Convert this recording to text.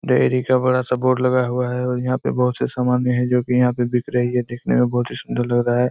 Dairy का बड़ा सा बोड लगा हुआ है और यहाँ पे बहुत से सामानय है जोकि यहाँ पे बिक रही है देखने में बहुत ही सुंदर लग रहा है।